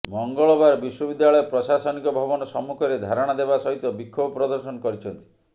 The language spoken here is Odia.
ମଙ୍ଗଳବାର ବିଶ୍ୱବିଦ୍ୟାଳୟ ପ୍ରଶାସନିକ ଭବନ ସମ୍ମୁଖରେ ଧାରଣା ଦେବା ସହିତ ବିକ୍ଷୋଭ ପ୍ରଦର୍ଶନ କରିଛନ୍ତି